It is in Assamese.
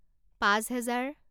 পাঁচ হেজাৰ